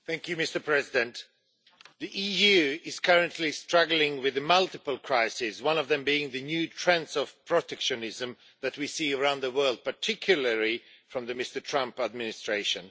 Mr President, the EU is currently struggling with multiple crises, one of them being the new trends of protectionism that we see around the world, particularly from the Trump administration.